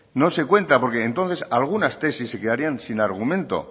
no se cuenta porque entonces algunas tesis se quedaría sin argumento